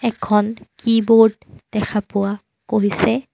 এখন কীবৰ্ড দেখা পোৱা গৈছে।